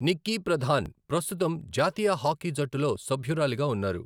నిక్కీ ప్రధాన్ ప్రస్తుతం జాతీయ హాకీ జట్టులో సభ్యురాలిగా ఉన్నారు.